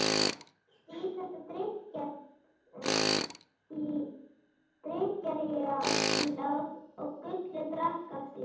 Þeir helltu í þetta drykkjarílát og Gulli drakk af því.